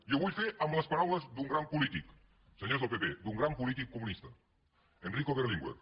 i ho vull fer amb les paraules d’un gran polític senyors del pp d’un gran polític comunista enrico berlinguer